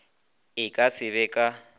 e ka se be ka